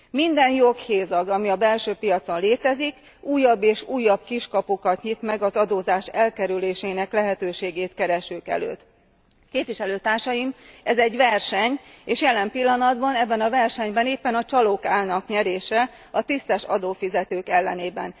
Minden joghézag, ami a belső piacon létezik, újabb és újabb kiskapukat nyit meg az adózás elkerülésének lehetőségét keresők előtt. Képviselőtársaim, ez egy verseny, és jelen pillanatban ebben a versenyben éppen a csalók állnak nyerésre a tisztes adófizetők ellenében.